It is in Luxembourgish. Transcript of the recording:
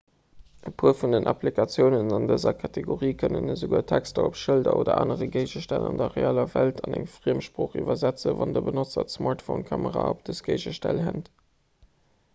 e puer vun den applikatiounen an dëser kategorie kënnen esouguer texter op schëlder oder anere géigestänn an der realer welt an eng friemsprooch iwwersetzen wann de benotzer d'smartphonekamera op dës géigestänn hält